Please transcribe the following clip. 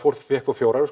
fékk nú fjórar